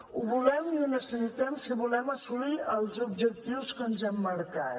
ho volem i ho necessitem si volem assolir els objectius que ens hem marcat